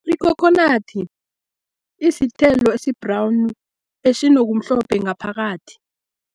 Ikhokhonadi isithelo esi-brown esinokumhlophe ngaphakathi.